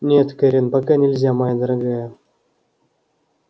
нет кэррин пока нельзя моя дорогая